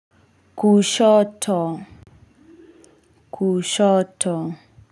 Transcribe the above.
Kushoto. Kushoto.